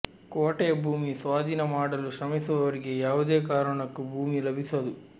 ಕೋಟೆಯ ಭೂಮಿ ಸ್ವಾಧೀನ ಮಾಡಲು ಶ್ರಮಿಸುವವರಿಗೆ ಯಾವುದೇ ಕಾರಣಕ್ಕೂ ಭೂಮಿ ಲಭಿಸದು